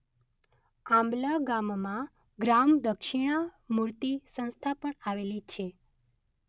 આંબલા ગામમાં ગ્રામ દક્ષિણામૂર્તિ સંસ્થા પણ આવેલી છે.